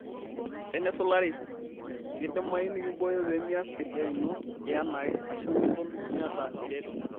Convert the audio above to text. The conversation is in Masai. Tenisulari, keidimayu nikimbooyo pee mias esiai ino yanaake ashu miton miata eretoto.